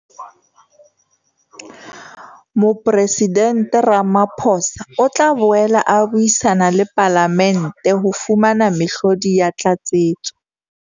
Mopresidente Ramaphosa o tla boela a buisana le Palamente ho fumana mehlodi ya tlatsetso.